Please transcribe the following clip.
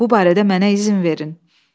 Bu barədə mənə izin verin."